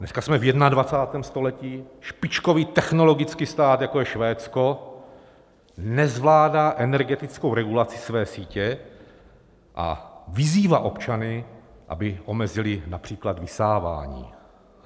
Dneska jsme v 21. století, špičkový technologický stát, jako je Švédsko, nezvládá energetickou regulaci své sítě a vyzývá občany, aby omezili například vysávání.